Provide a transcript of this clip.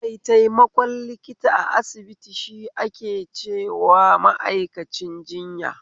Maitaimakon likita a asibiti shi ake cewa ma'aikacin jinya